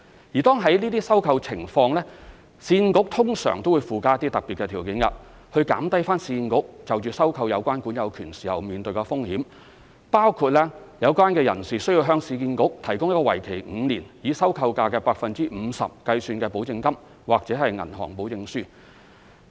如果屬於這類收購情況，市建局通常會附加一些特別條件，以減低市建局收購有關管有權時面對的風險，包括有關人士需要向市建局提供一個為期5年、以收購價 50% 計算的保證金或銀行保證書。